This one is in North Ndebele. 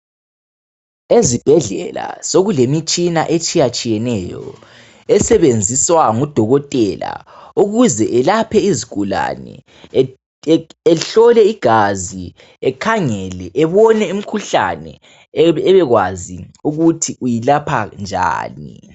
Ezibhedlela sokule mitshina etshiyatshiyeneyo esebenziswa ngu Dokotela ukuze elaphe izigulane ehlole igazi, ekhangele ebone imkhuhlane ebekwazi ukuthi uyilapha njani .